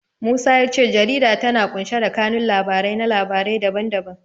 Musa ya ce jarida tana ƙunshe da kanun labarai na labarai da ban da ban.